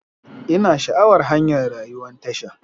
Ina sha'awar hanyar rayuwan tasha.